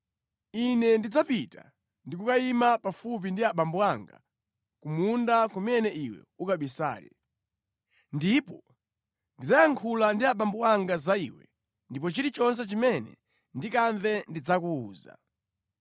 Ine ndidzapita ndi kukayima pafupi ndi abambo anga ku munda kumene iwe ukabisale. Ndipo ndidzayankhula ndi abambo anga za iwe ndipo chilichonse chimene ndikamve ndidzakuwuza.”